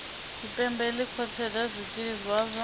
tshipembe ḽi khwaṱhisedzaho zwikili zwavho